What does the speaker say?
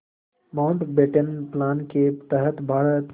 Mountbatten plan के तहत भारत